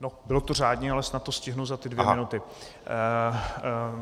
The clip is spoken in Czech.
Bylo to řádně, ale snad to stihnu za ty dvě minuty.